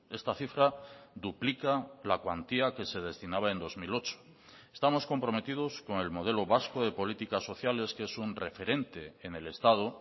esta cifra duplica la cuantía que se destinaba en dos mil ocho estamos comprometidos con el modelo vasco de políticas sociales que es un referente en el estado